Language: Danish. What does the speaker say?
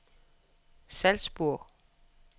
Salzburg